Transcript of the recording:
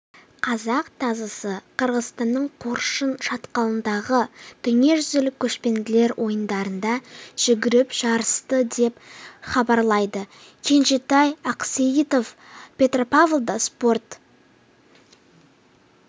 қазақ тазысы қырғызстанның қыршын шатқалындағы дүниежүзілік көшпенділер ойындарында жүгіріп жарысты деп хабарлайды кенжетай ақсейітов петропавлда спорт